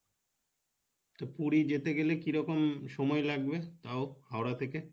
তো পুরি যেতে গেলে কিরকম সময় লাগবে তাও হাওড়া থেকে?